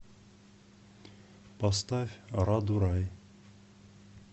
поставь раду рай